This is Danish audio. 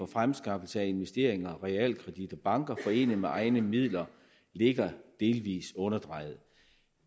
fremskaffelse af investeringer realkredit og banker forenet med egne midler ligger delvis underdrejet